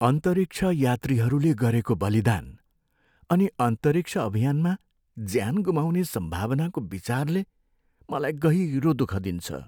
अन्तरिक्ष यात्रीहरूले गरेको बलिदान अनि अन्तरिक्ष अभियानमा ज्यान गुमाउने सम्भावनाको विचारले मलाई गहिरो दुःख दिन्छ।